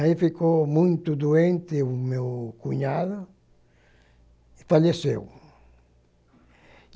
Aí ficou muito doente o meu cunhado e faleceu.